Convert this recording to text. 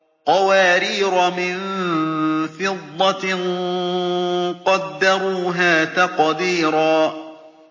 قَوَارِيرَ مِن فِضَّةٍ قَدَّرُوهَا تَقْدِيرًا